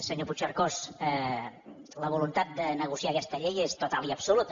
senyor puigcercós la voluntat de negociar aquesta llei és total i absoluta